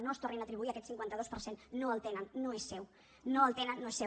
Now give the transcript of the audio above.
no es tornin a atribuir aquest cinquanta dos per cent no el tenen no és seu no el tenen no és seu